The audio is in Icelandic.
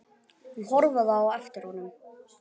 Hún horfði á eftir honum.